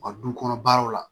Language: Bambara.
U ka du kɔnɔ baaraw la